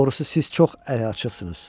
Doğrusu siz çox əliaçıqsınız.